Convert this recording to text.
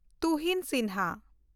Tuhin Sinha